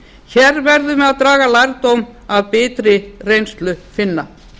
hér verðum við að draga lærdóm af biturri reynslu finna